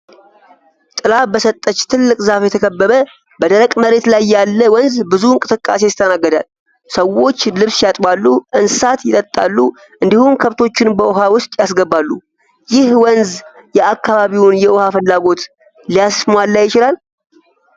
ጥላ በሰጠች ትልቅ ዛፍ የተከበበ፣ በደረቅ መሬት ላይ ያለ ወንዝ ብዙ እንቅስቃሴ ይስተናገዳል። ሰዎች ልብስ ያጥባሉ፣ እንስሳትን ያጠጣሉ እንዲሁም ከብቶችን በውሃ ውስጥ ያስገባሉ። ይህ ወንዝ የአካባቢውን የውሃ ፍላጎት ሊያሟላ ይችላል?